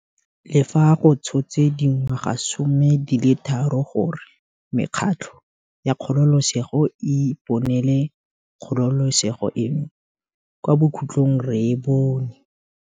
Le fa go tshotse dingwagasome di le tharo gore mekgatlho ya kgololesego e iponele kgololesego eno, kwa bokhutlhong re e bone.